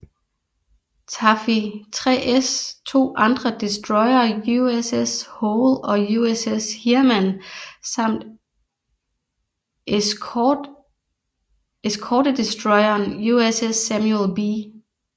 Taffy 3s to andre destroyere USS Hoel og USS Heermann samt eskortedestroyeren USS Samuel B